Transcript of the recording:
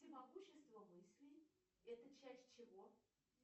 всемогущество мыслей это часть чего